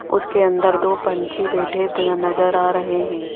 उसके अंदर दो पंछी बैठे तरह नजर आ रहे हैं।